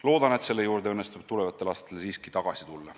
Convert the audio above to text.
Loodan, et selle juurde õnnestub tulevastel aastatel siiski tagasi tulla.